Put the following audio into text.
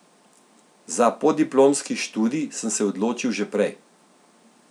Za podiplomski študij sem se odločil že prej.